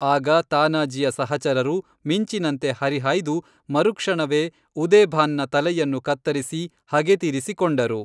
ಆಗ ತಾನಾಜೀಯ ಸಹಚರರು ಮಿಂಚಿನಂತೆ ಹರಿಹಾಯ್ದು ಮರುಕ್ಷಣವೇ ಉದೇಭಾನ್‌ನ ತಲೆಯನ್ನು ಕತ್ತರಿಸಿ ಹಗೇ ತೀರಿಸಿ ಕೊಂಡರು